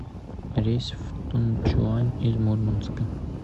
рейс в тунчуань из мурманска